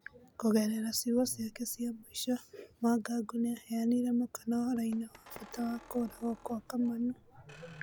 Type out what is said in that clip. Kũgerera ciigo ciake cia mũico, Mwangangũnĩaheanire mũkana ũhoroinĩ wa bata wa kũragwo Kwa Kamanũ.